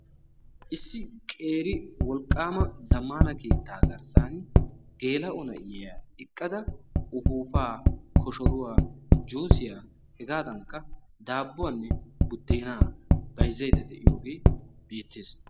ISSI QEERI WOLQAAMA ZAMAANA KEETAA GARSAANI GEE; LA'O NAIYA EQQADA UPUUPAA, KOSHORUWA, JUUSHIYA DAABUWA, BAYZAYDDA DE'IYOGE BEETEES.